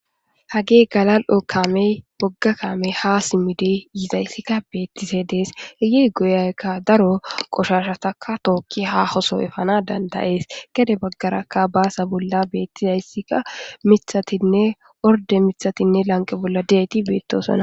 hage galal7o kaamey bogga kaamey ha simide yizayssikka beettise dees heyi goyaykka daro qoshashataka tookki ha hoso efana dandayees gede baggarakka baasa bolla beettizayssikka mithatinne orde mithatinne lanqe bolla deeti beettosoa